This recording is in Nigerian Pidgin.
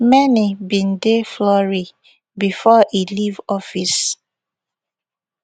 many bin dey flurry bifor e leave office